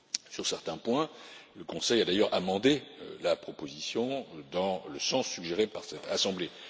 Sur certains points, le Conseil a d'ailleurs modifié la proposition dans le sens suggéré par cette Assemblée.